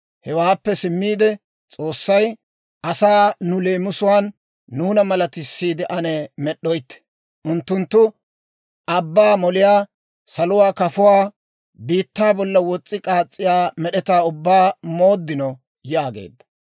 Hewaappe simmiide S'oossay, «Asaa nu leemisuwaan nuuna malattisiidde ane med'd'oytte; unttunttu abbaa moliyaa, saluwaa kafuwaa, biittaa bolla wos's'i k'aas's'iyaa med'etaa ubbaa mooddino» yaageedda.